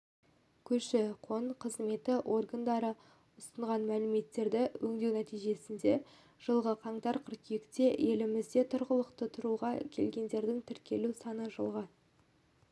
көші-қон қызметі органдары ұсынған мәліметтерді өңдеу нәтижесінде жылғы қаңтар-қыркүйекте елімізге тұрғылықты тұруға келгендердің тіркелу саны жылғы